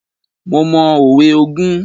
Mo mọ òwe ogún.